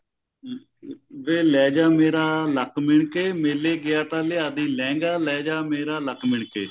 ਵੇ ਲੈ ਜਾ ਮੇਰਾ ਲੱਕ ਮਿਣ ਕੇ ਮੇਲੇ ਗਿਆ ਤਾਂ ਲਿਆ ਦਈਂ ਲਹਿੰਗਾ ਲੈ ਜਾ ਮੇਰਾ ਲੱਕ ਮਿਣ ਕੇ